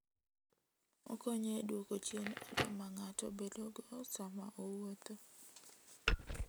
Okonyo e duoko chien olo ma ng'ato bedogo sama owuotho.